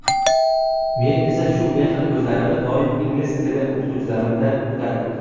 Men esa shu mehr ko‘zlarini doim ingliz tili o‘qituvchimdan kutardim.